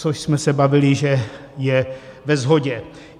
- Což jsme se bavili, že je ve shodě.